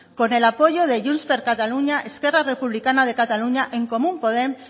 con el apoyo de junts per cataluña esquerra republicana de cataluña en comú podem